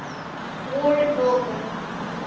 war involving